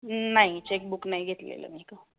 नाही checkbook नाही घेतलेलं मी.